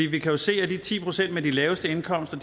vi kan jo se at de ti procent med de laveste indkomster